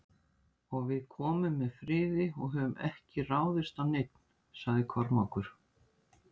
Og við komum með friði og höfum ekki ráðist á neinn, sagði Kormákur.